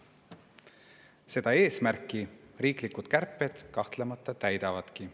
Seda eesmärki riiklikud kärped kahtlemata täidavadki.